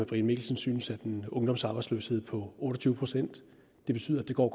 brian mikkelsen synes at en ungdomsarbejdsløshed på otte og tyve procent betyder at det går